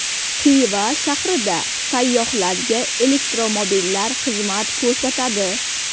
Xiva shahrida sayyohlarga elektromobillar xizmat ko‘rsatadi.